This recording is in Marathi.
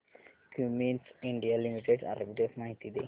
क्युमिंस इंडिया लिमिटेड आर्बिट्रेज माहिती दे